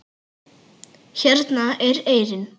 Hérna er eyrin.